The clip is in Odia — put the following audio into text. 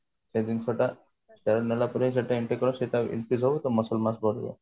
ସେ ଜିନିଷ ଟା steroid ନେଲା ପରେ ସେଟା ଏମତି ପୁରା ବଢି ଯାଏ